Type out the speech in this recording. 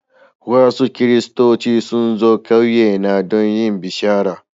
Wasu Kiristoci sun zo ƙauyena don yin bishara.